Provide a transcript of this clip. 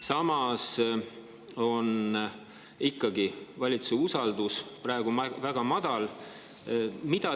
Samas on valitsuse usaldus praegu ikkagi väga madal.